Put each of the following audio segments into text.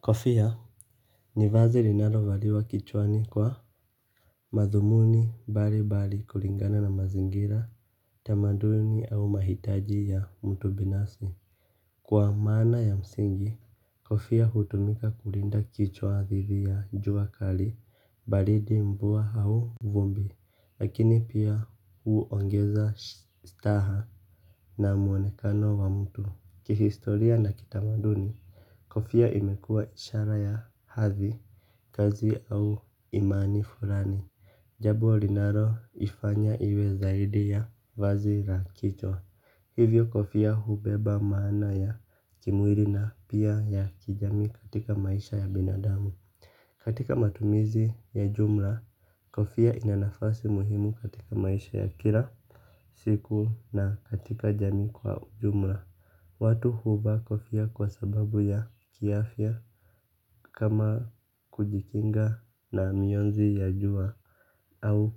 Kofia ni vazi linalo valiwa kichwani kwa madhumuni mbali mbali kulingana na mazingira, tamaduni au mahitaji ya mtu binasi. Kwa maana ya msingi kofia hutumika kulinda kichwa dhidi ya jua kali, baridi, mvua au vumbi lakini pia huongeza staha na muonekano wa mtu, kihistoria na kitamaduni kofia imekua ishara ya hadhi. Kazi au imani fulani, jambo linalo ifanya iwe zaidi ya vazi la kichwa. Hivyo kofia hubeba maana ya kimwili na pia ya kijamii katika maisha ya binadamu. Katika matumizi ya jumla. Kofia ina nafasi muhimu katika maisha ya kila siku na katika jamii kwa jumla. Watu huvaa kofia kwa sababu ya kiafya kama kujikinga na mionzi ya jua au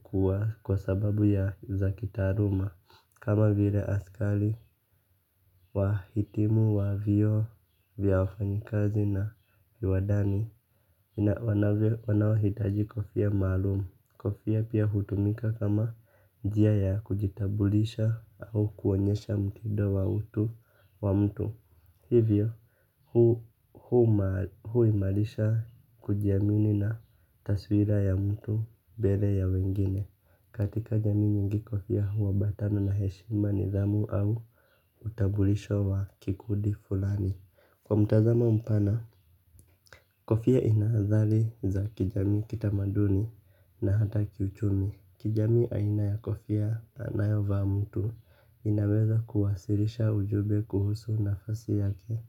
kwa sababu ya, za kitaaluma. Kama vile askari wa hitimu wa vyuo vya wafanyikazi na viwadani. Wanao hitaji kofia maalumu. Kofia pia hutumika kama njia ya kujitambulisha au kuonyesha mtido wa utu wa mtu. Hivyo, huimalisha kujiamini na taswira ya mtu mbele ya wengine. Katika jamii nyingi kofia huabatana na heshima nidhamu au utambulisho wa kikundi fulani. Kwa mtazamo mpana, kofia ina nadhali za kijamii kitamaduni na hata kiuchumi. Kijamii aina ya kofia anayo vaa mtu inaweza kuwasirisha ujumbe kuhusu nafasi yake,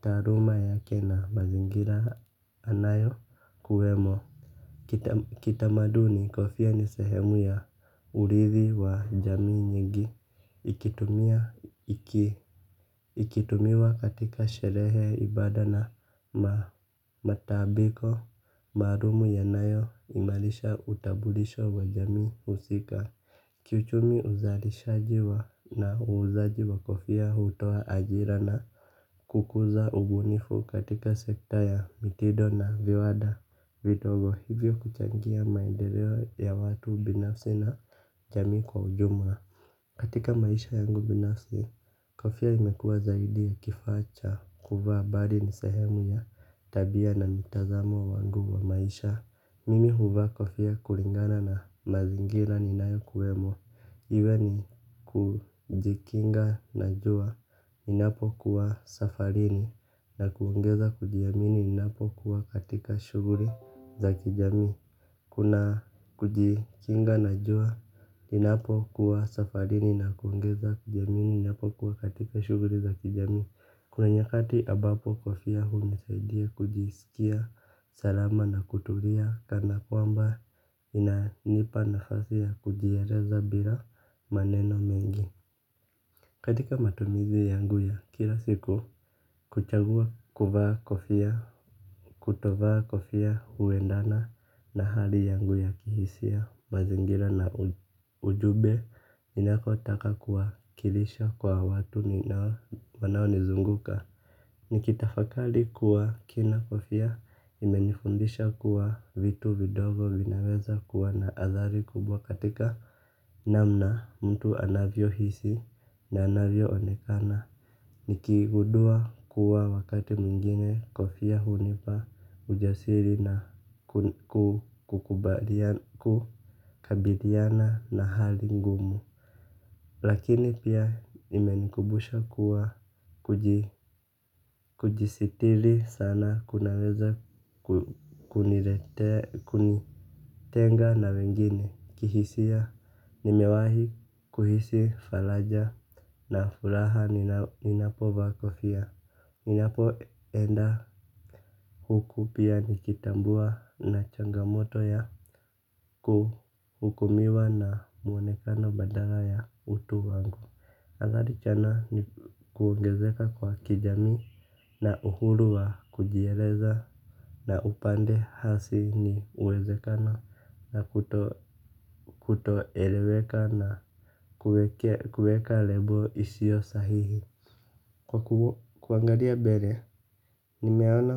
taaluma yake na mazingira anayo kuwemo. Kitamaduni, kofia ni sehemu ya urithi wa jamii nyingi. Ikitumia iki kutumiwa katika sherehe, ibada na matabiko maalumu yanayo imalisha utambulisho wa jamii husika ki uchumi uzalishaji wa na uuzaji wa kofia hutoa ajira na kukuza ubunifu katika sekta ya mitindo na viwanda. Vitogo hivyo kuchangia maendeleo ya watu binafsi na jamii kwa ujumla, katika maisha yangu binasi, kofia imekuwa zaidi ya kifaa cha, kuvaa, bali ni sehemu ya tabia na mtazamo wangu wa maisha. Mimi huvaa kofia kulingana na mazingira ninayo kuwemo. Iwe ni kujikinga na jua ninapo kuwa safarini, na kuongeza kujiamini ninapokuwa katika shughuli za kijamii. Kuna kujikinga na jua ninapo kuwa safarini na kuongeza kujiamini, ninapo kuwa katika shughuli za kijamii. Kuna nyakati ambapo kofia hunisaidia kujisikia salama na kutulia. Kana kwamba ina nipa nafasi ya kujieleza bila maneno mengi. Katika matumizi yangu ya kila siku, kuchagua kuvaa kofia, kutovaa kofia huendana na hali yangu ya kihisia, mazingira na ujumbe ninakotaka kuwakilisha kwa watu ninao, wanaonizunguka. Nikitafakali kuwa kina kofia imenifundisha kuwa vitu vidogo vinaweza kuwa na athari kubwa katika namna mtu anavyo hisi na anavyo onekana. Nikigundua kuwa wakati mwingine kofia hunipa ujasiri na kukabidhiana na hali ngumu. Lakini pia imenikumbusha kuwa kujisitili sana kunaweza kunitenga na wengine. Kihisia nimewahi kuhisi faraja na furaha ninapovaa kofia ninapo enda huku pia nikitambua na changamoto ya kuhukumiwa na mwonekano badala ya utu wangu. Adhari tena ni kuongezeka kwa kijamii na uhuru wa kujieleza na upande hasi ni uwezekano na kutoeleweka na kuweka lebo isio sahihi, kwa kuangalia mbele, nimeona.